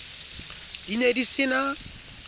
di ne di se na